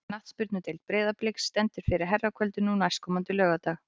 Knattspyrnudeild Breiðabliks stendur fyrir herrakvöldi nú næstkomandi laugardag.